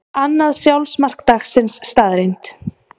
Annað sjálfsmark dagsins staðreynd